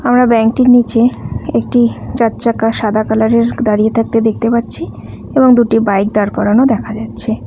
আমরা ব্যাংক -টির নীচে একটি চারচাকা সাদা কালারের দাঁড়িয়ে থাকতে দেখতে পাচ্ছি এবং দুটি বাইক দাঁড় করানো দেখা যাচ্ছে।